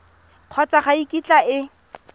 kgotsa ga e kitla e